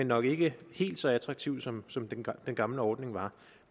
nok ikke helt så attraktiv som den gamle ordning var